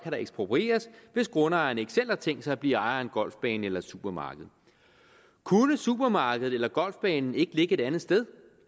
der eksproprieres hvis grundejeren ikke selv har tænkt sig at blive ejer af en golfbane eller et supermarked kunne supermarkedet eller golfbanen ikke ligge et andet sted